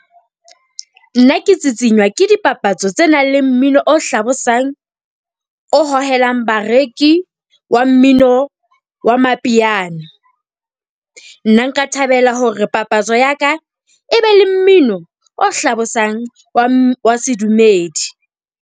Nna ke tsitsinywa ke dipapatso tse nang le mmino o hlabosang, o hohelang bareki. Wa mmino wa mapiano. Nna nka thabela hore papatso ya ka e be le mmino o hlabosang wa sedumedi.